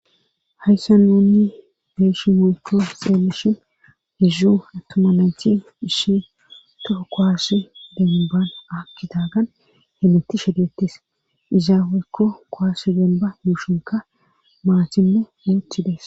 hayssa nuunni beeshi mulko xeellishin hizzu attuma nayti hishi tofo koaasi daminban aakkitaagan hemetti shedettis izaa weykko koaassi donba yuushinka maatinne yuuthides